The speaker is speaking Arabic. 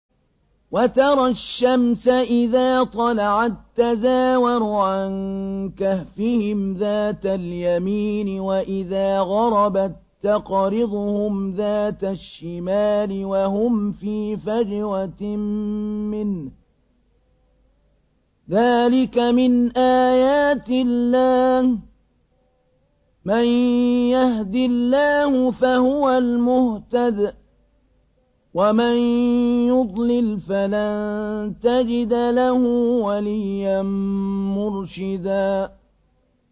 ۞ وَتَرَى الشَّمْسَ إِذَا طَلَعَت تَّزَاوَرُ عَن كَهْفِهِمْ ذَاتَ الْيَمِينِ وَإِذَا غَرَبَت تَّقْرِضُهُمْ ذَاتَ الشِّمَالِ وَهُمْ فِي فَجْوَةٍ مِّنْهُ ۚ ذَٰلِكَ مِنْ آيَاتِ اللَّهِ ۗ مَن يَهْدِ اللَّهُ فَهُوَ الْمُهْتَدِ ۖ وَمَن يُضْلِلْ فَلَن تَجِدَ لَهُ وَلِيًّا مُّرْشِدًا